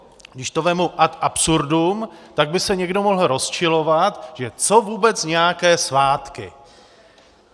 Když to vezmu ad absurdum, tak by se někdo mohl rozčilovat, že co vůbec nějaké svátky.